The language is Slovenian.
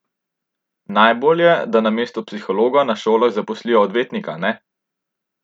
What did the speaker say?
Najbolje, da namesto psihologa na šolah zaposlijo odvetnika ne?